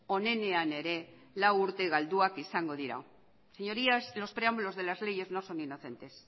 onenean ere lau urte galduak izango dira señorías los preámbulos de las leyes no son inocentes